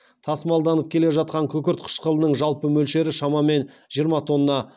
тасымалданып келе жатқан күкірт қышқылының жалпы мөлшері шамамен жиырма тонна